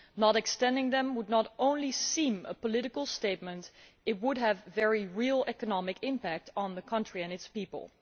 Not extending them would not only seem a political statement but would have a very real economic impact on the country and its people.